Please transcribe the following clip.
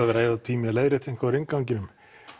að eyða tíma í að leiðrétta eitthvað í innganginum